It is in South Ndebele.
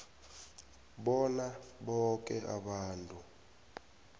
bona boke abantu